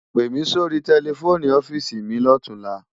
Pèmi sóri tèlèfóni òfisi mi lòtúnlá